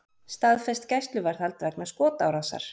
Staðfest gæsluvarðhald vegna skotárásar